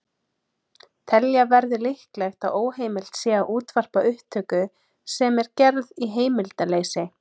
Telja verður líklegt að óheimilt sé að útvarpa upptöku sem er gerð í heimildarleysi.